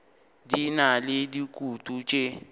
di na le dikutu tše